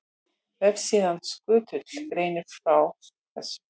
Vefsíðan Skutull greinir frá þessu.